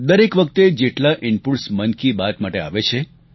દરેક વખતે જેટલા ઈનપુટ્સ મન કી બાત માટે આવે છે